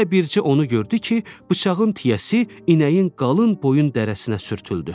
Elə bilcə onu gördü ki, bıçağın tiyəsi inəyin qalın boyun dərisinə sürtüldü.